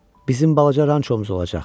Bizim balaca rançomuz olacaq.